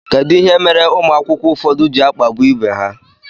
Kedụ ihe mere ụmụ akwụkwọ ụfọdụ ji akpagbu ibe ha?